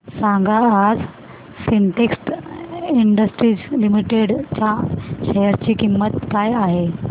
सांगा आज Syntex industries limited च्या शेअर ची किंमत काय आहे